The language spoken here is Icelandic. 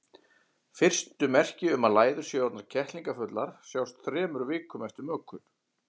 Fyrstu merki um að læður séu orðnar kettlingafullar sjást þremur vikum eftir mökun.